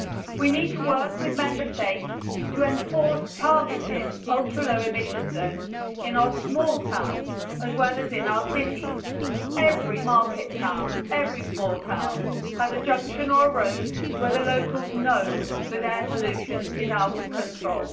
We need to work with Member States to enforce targeted ultra low emission zones in our small towns as well as in our cities. Every market town, every small town has a junction or a road where the locals know that air pollution is out of control.